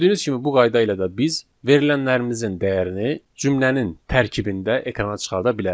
Gördüyünüz kimi bu qayda ilə də biz verilənlərimizin dəyərini cümlənin tərkibində ekrana çıxarda bilərik.